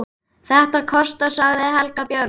Þetta kostar, segir Heiða Björg.